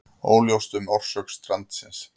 Óljóst um orsök strandsins